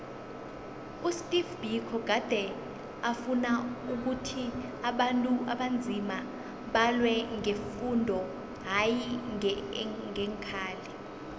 usteve biko gade afuna ukhuthi abantu abanzima balwe ngefundo hayi ngeenkhali